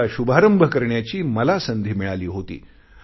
त्याचा शुभारंभ करण्याची मला संधी मिळाली होती